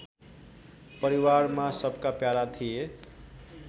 परिवारमा सबका प्यारा थिए